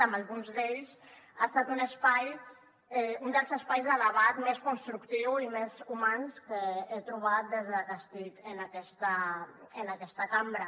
amb alguns d’ells ha estat un dels espais de debat més constructiu i més humà que he trobat des de que estic en aquesta cambra